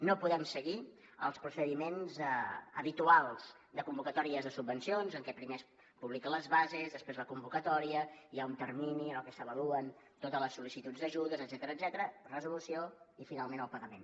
no podem seguir els procediments habituals de convocatòries de subvencions en què primer es publiquen les bases després la convocatòria hi ha un termini en el que s’avaluen totes les sol·licituds d’ajudes etcètera resolució i finalment el pagament